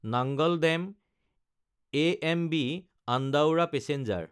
নাঙাল দাম–এএমবি আন্দাউৰা পেচেঞ্জাৰ